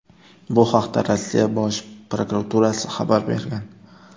Bu haqda Rossiya Bosh prokuraturasi xabar bergan .